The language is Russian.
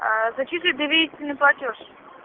а зачислить доверительный платёж